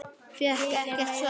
Fékk ekkert svar.